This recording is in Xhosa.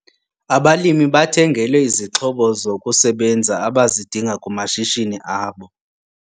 Abalimi bathengelwe izixhobo zokusebenza abazidinga kumashishini abo.